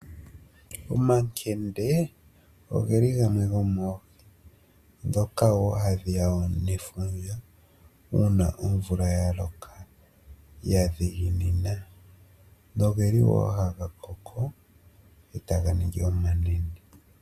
Omankende ogeli gamwe gomoohi, ndhoka wo hadhi ya nefundja uuna omvula ya loka, ya dhiginina noge li wo haga koko e taga ningi omanene.